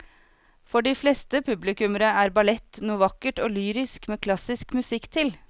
For de fleste publikummere er ballett noe vakkert og lyrisk med klassisk musikk til.